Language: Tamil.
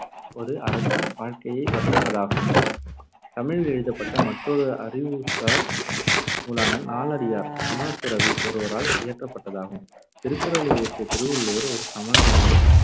ஒருஅரசின் வாழ்க்கையை வர்ணிப்பதாகும். தமிழில் எழுதப்பட்ட மற்றொரு அறிவுசார் நூலான நாலடியார் சமணத்துறவி ஒருவரால் இயற்றப்பட்டதாகும். திருக்குறளை இயற்றிய திருவள்ளுவர் ஒரு சமணர் என